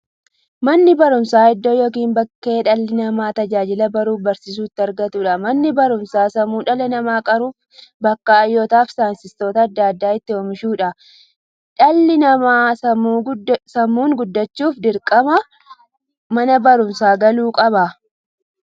Manni baruumsaa iddoo yookiin bakkee dhalli namaa tajaajila baruufi barsiisuu itti argatuudha. Manni baruumsaa sammuu dhala namaa qaruufi bakka hayyootafi saayintistoota adda addaa itti oomishuudha. Dhalli namaa sammuun gudachuuf, dirqama mana baruumsaa galuu qaba.